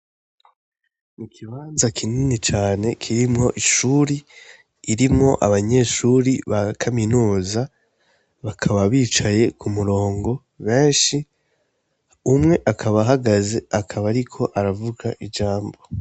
Ikibanza kinini cane kirimwo ishure irimwo abanyeshure ba kaminuza bakaba bicaye ku murongo beshi umwe akaba ahagaze akaba ariko aravuga ijambo.